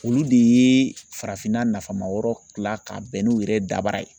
Olu de ye farafinna nafamayɔrɔ tila ka bɛn n'u yɛrɛ dabara ye